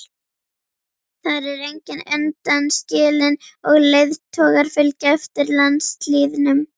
Þar er enginn undanskilinn og leiðtogar fylgja eftir landslýðnum.